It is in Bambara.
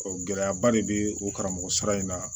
gɛlɛyaba de bɛ o karamɔgɔ sara in na